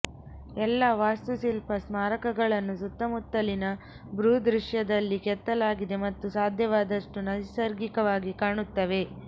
ಎಲ್ಲಾ ವಾಸ್ತುಶಿಲ್ಪ ಸ್ಮಾರಕಗಳನ್ನು ಸುತ್ತಮುತ್ತಲಿನ ಭೂದೃಶ್ಯದಲ್ಲಿ ಕೆತ್ತಲಾಗಿದೆ ಮತ್ತು ಸಾಧ್ಯವಾದಷ್ಟು ನೈಸರ್ಗಿಕವಾಗಿ ಕಾಣುತ್ತವೆ